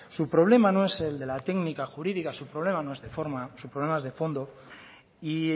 su problema no es el de la técnica jurídica su problema no es de forma su problema es de fondo y